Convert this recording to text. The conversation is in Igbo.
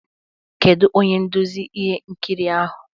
Kedu onye nduzi ihe nkiri ahụ?